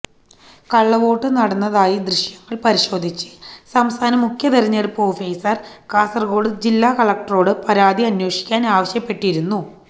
കള്ളവോട്ട് നടന്നതായി ദൃശ്യങ്ങൾ പരിശോധിച്ച് സംസ്ഥാന മുഖ്യ തെരഞ്ഞെടുപ്പ് ഓഫീസർ കാസർഗോഡ് ജില്ലാ കലക്ടറോട് പരാതി അന്വേഷിക്കാൻ ആവശ്യപ്പെട്ടിരുന്നു